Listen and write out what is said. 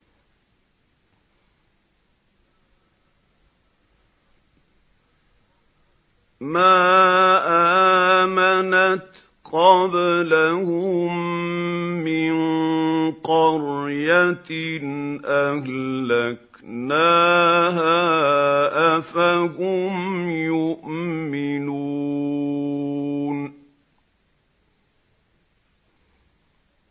مَا آمَنَتْ قَبْلَهُم مِّن قَرْيَةٍ أَهْلَكْنَاهَا ۖ أَفَهُمْ يُؤْمِنُونَ